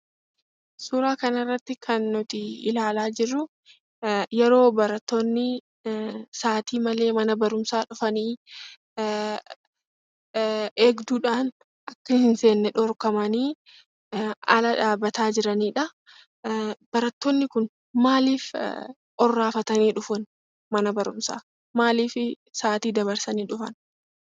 Suuran kanarratti kan nuuti ilaala jirruu yeroo barattoonni sa'ati malee mana barumsaa dhufanii, eegduudhaan akka hin seenne dhorkamani ala dhaabata jiraniidhaa. Barattoonni kun maaliif orraafatanii dhufaan, mana barumsaa? Maaliif sa'ati dabarsanii dhufan?